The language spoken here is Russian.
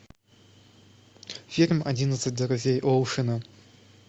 фильм одиннадцать друзей оушена